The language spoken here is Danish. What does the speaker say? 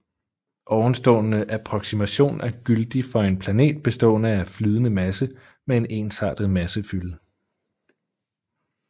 Ovenstående approksimation er gyldig for en planet bestående af flydende masse med en ensartet massefylde